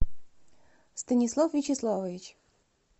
станислав вячеславович